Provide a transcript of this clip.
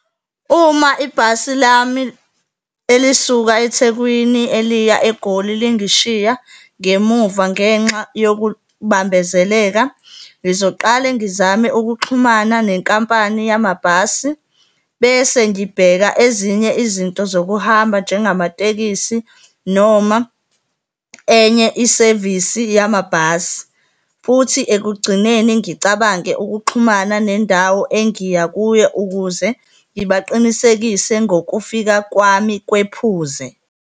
Uma ibhasi lami elisuka eThekwini eliya eGoli lingishiya ngemuva ngenxa yokubambezeleka, ngizoqala ngizame ukuxhumana nenkampani yamabhasi bese ngibheka ezinye izinto zokuhamba, njengamatekisi noma enye isevisi yamabhasi. Futhi, ekugcineni ngicabange ukuxhumana nendawo engiya kuyo ukuze ngibaqinisekise ngokufika kwami kwephuze.